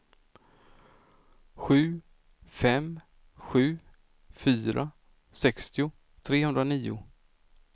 sju fem sju fyra sextio trehundranio